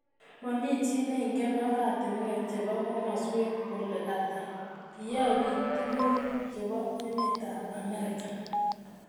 Mami chi neingen oratinwek chebo komoswek kole hata, kiyoe biik tugul chebo emetab Amerika